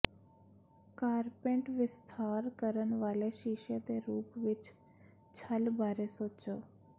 ਕਾਰਪੇਂਟ ਵਿਸਥਾਰ ਕਰਨ ਵਾਲੇ ਸ਼ੀਸ਼ੇ ਦੇ ਰੂਪ ਵਿੱਚ ਛੱਲ ਬਾਰੇ ਸੋਚੋ